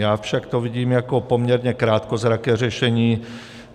Já však to vidím jako poměrně krátkozraké řešení.